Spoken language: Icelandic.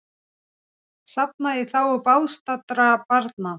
Safnað í þágu bágstaddra barna